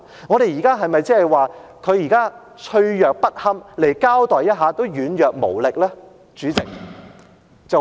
我們現在是否說他們脆弱不堪，來交代一下也軟弱無力呢？